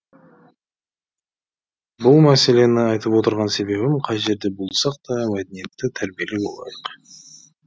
бұл мәселені айтып отырған себебім кай жерде болсақ та мәдениетті тәрбиелі болайық